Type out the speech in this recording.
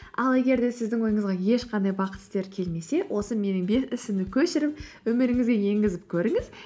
ал егер де сіздің ойыңызға ешқандай бақыт істері келмесе осы көшіріп өміріңізге енгізіп көріңіз